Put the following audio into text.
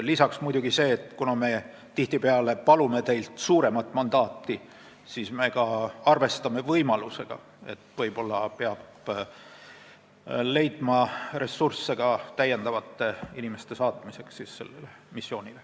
Lisaks muidugi see, et me palume teilt tihtipeale suuremat mandaati ja ka arvestame võimalusega, et võib-olla peab leidma ressursse täiendavate inimeste missioonile saatmiseks.